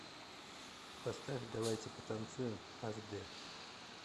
поставь давайте потанцуем аш дэ